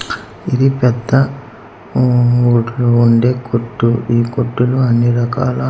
ఇది పెద్ద హూ వడ్లు వొండె కొట్టు ఈ కొట్టులో అన్ని రకాల